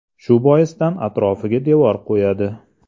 Shu boisdan atrofiga devor qo‘yadi.